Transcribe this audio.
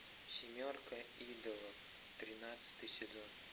семерка идолов тринадцатый сезон